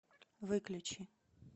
выключи